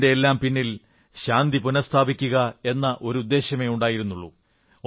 ഇതിന്റെയെല്ലാം പിന്നിൽ ശാന്തി പുനഃസ്ഥാപിക്കുക എന്ന ഒരു ഉദ്ദേശ്യമേ ഉണ്ടായിരുന്നുള്ളൂ